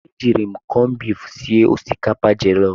E jiiri m kọmbif sie osikapa jọlọf.